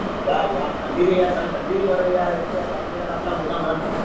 ના યાર ઠંડી થી તમે ઠંડી થી મારો યાર એક તો તમે યાર આટલા મોટા માણસ થઈ ઠંડી થી દરો.